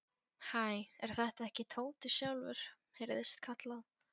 Hæ, er þetta ekki Tóti sjálfur? heyrðist kallað.